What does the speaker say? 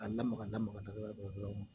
A lamaga lamaga yɔrɔ dɔrɔn